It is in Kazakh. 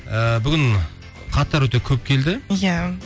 ы бүгін хаттар өте көп келді иә